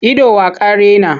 Ido wa ka raina?